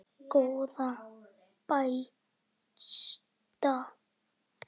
Góða besta.